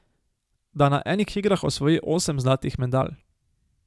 Da na enih igrah osvoji osem zlatih medalj.